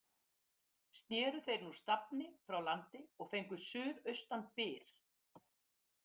Sneru þeir nú stafni frá landi og fengu suðaustan byr.